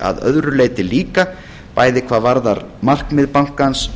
að öðru leyti líka bæði hvað varðar markmið bankans